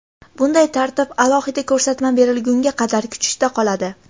Bunday tartib alohida ko‘rsatma berilgunga qadar kuchda qoladi.